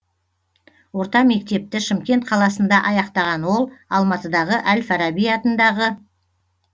орта мектепті шымкент қаласында аяқтаған ол алматыдағы әл фараби атындағы